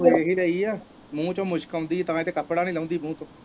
ਹੁਣ ਇਹੀ ਲਈ ਆ, ਮੂੰਹ ਚੋਂ ਮੁਸ਼ਕ ਆਉਂਦੀ ਤਾਂ ਇਹ ਤਾਂ ਕੱਪੜਾ ਨੀ ਲਾਉਂਦੀ ਮੂੰਹ ਚੋਂ।